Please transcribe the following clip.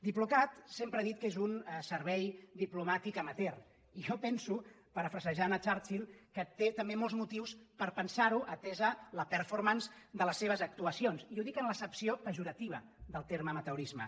diplocat sempre ha dit que és un servei diplomàtic amateur i jo penso parafrasejant churchill que té també molts motius per pensar ho atesa la performance de les seves actuacions i ho dic en l’accepció pejorativa del terme amateurisme